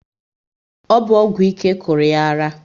Ọ bụ ọgwụ ike kụrụ yá ara?